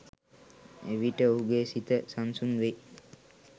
එවිට ඔහුගේ සිත සන්සුන් වෙයි